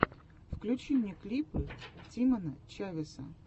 включи мне клипы тимона чавеса